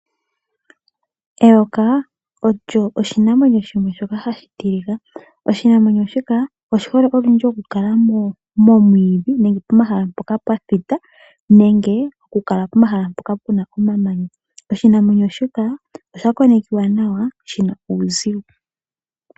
Eyoka olyo oshinamwenyo shoka hashi tilika. Oshinamwenyo shika oshihole okukala momwiidhi nenge pomahala mpoka pwathita nenge okukala pomahala mpoka puna omamanya. Oshinamwenyo shika oshakonekiwa nawa shina uuzigo.